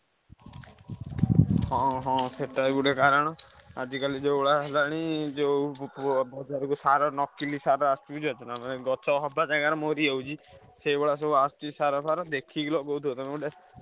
ହଁ ହଁ ସେଟା ବି ଗୋଟେ କାରଣ ଆଜି କାଲି ଯୋଉ ଭଳିଆ ହେଲାଣି ଯୋଉ ନକଲି ସାର ଆସୁଛି ଗଛ ହବା ଜାଗାରେ ମରି ଯାଉଛି, ସେ ଭଳିଆ ସବୁ ଆସୁଛି ସାର ଫାର ଦେଖିକି ଲଗଉଥିବ କାହାକୁ ଗୋଟେ।